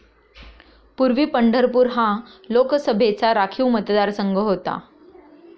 पूर्वी पंढरपूर हा लोकसभेचा राखीव मतदारसंघ होता.